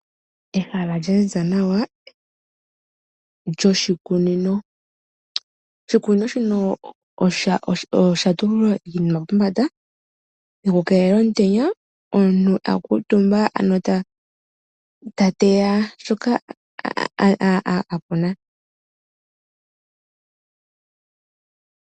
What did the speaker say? Ehala lya ziza nawa lyoshikunino . Oshikunino osha tulwa iinima pombanda yokukelela omutenya. Omuntu a kutumba ano ta teya shoka akuna.